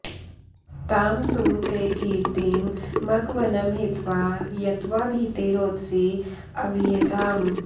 तां सु ते॑ की॒र्तिं म॑घवन्महि॒त्वा यत्त्वा॑ भी॒ते रोद॑सी॒ अह्व॑येताम्